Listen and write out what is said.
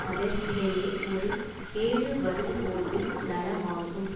அதற்கிடையே ஒரு கேடு வரும்போது நலமாகும்